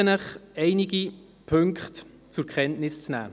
Ich bitte Sie, einige Punkte zur Kenntnis zu nehmen.